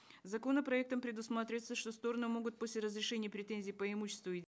законопроектом предусматривается что стороны могут после разрешения претензий по имуществу и